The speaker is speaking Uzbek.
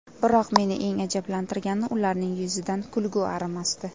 Biroq meni eng ajablantirgani ularning yuzidan kulgi arimasdi.